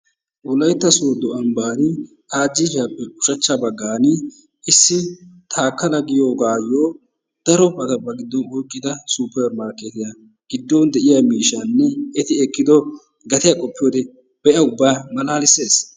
Wolaytta sooddo ambbaa ajjiifiyappe ushachcha baggaani issi Taakkala giyoogaayo darobata ba giddon oyikkida supermarkeetiya giddon de"iya miishshaanne eti ekkido gatiya qoppiyoode be"a ubba malaalisees